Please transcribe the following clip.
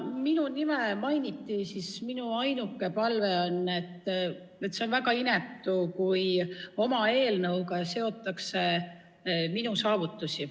Minu nime mainiti ja minu ainuke märkus on, et see on väga inetu, kui oma eelnõuga seotakse minu saavutusi.